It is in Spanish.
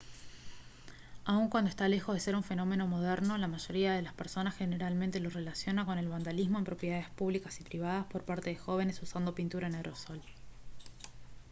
aun cuando está lejos de ser un fenómeno moderno la mayoría de las personas generalmente lo relaciona con el vandalismo en propiedades públicas y privadas por parte de jóvenes usando pintura en aerosol